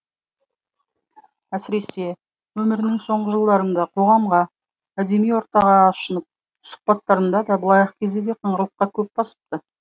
әсіресе өмірінің соңғы жылдарында қоғамға әдеби ортаға ашынып сұхбаттарында да былайғы кезде де қыңырлыққа көп басыпты